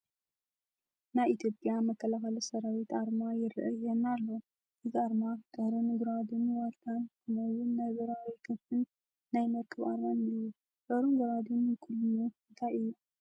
ናይ ኢትዮጵያ መከላኸሊ ሰራዊት ኣርማ ይርአየና ኣሎ፡፡ እዚ ኣርማ ጦርን ጉራዲን ዋልታን ከምኡውን ናይ በራሪ ክንፊን ናይ መርከብ ኣርማን እኔዎ፡፡ ጦርን ጉራዴን ውክልንኡ እንታይ እዩ?